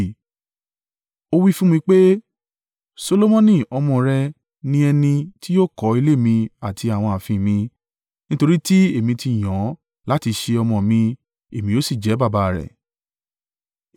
Ó wí fún mi pé, Solomoni ọmọ rẹ ni ẹni tí yóò kọ́ ilé mi àti àwọn ààfin mi, nítorí tí èmi ti yàn án láti ṣe ọmọ mi èmi yóò sì jẹ́ baba a rẹ̀.